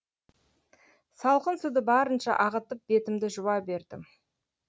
салқын суды барынша ағытып бетімді жуа бердім